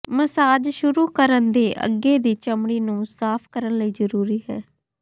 massage ਸ਼ੁਰੂ ਕਰਨ ਦੇ ਅੱਗੇ ਦੀ ਚਮੜੀ ਨੂੰ ਸਾਫ਼ ਕਰਨ ਲਈ ਜ਼ਰੂਰੀ ਹੈ